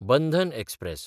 Bandhan express